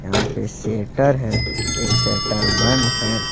यहां पे शेटर है एक शेटर बंद है।